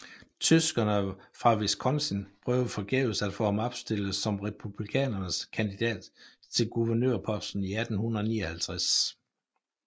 Tyskerne fra Wisconsin prøvede forgæves at få ham opstillet som Republikanernes kandidat til guvernørposten i 1859